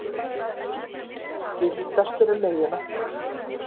Gildastur um miðjuna.